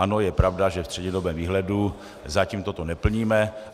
Ano, je pravda, že ve střednědobém výhledu zatím toto neplníme.